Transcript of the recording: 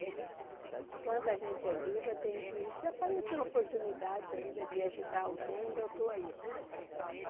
Enquanto a gente é viva tem que... se aparecer uma oportunidade ainda de ajudar alguém, eu estou aí.